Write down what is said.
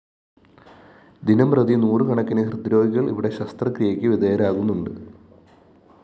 ദിനംപ്രതി നൂറുകണക്കിന് ഹൃദ്രോഗികള്‍ ഇവിടെ ശസ്ത്രക്രിയക്ക് വിധേയരാകുന്നുണ്ട്